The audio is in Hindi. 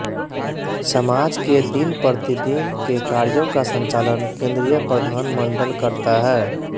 समाज के दिन प्रति दिन के कार्यो का संचालन केंद्रीय प्रधान मंडल करता है